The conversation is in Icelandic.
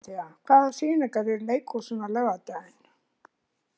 Dórothea, hvaða sýningar eru í leikhúsinu á laugardaginn?